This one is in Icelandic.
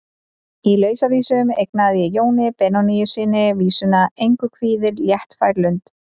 Í Lausavísum eignaði ég Jóni Benónýssyni vísuna: Engu kvíðir léttfær lund.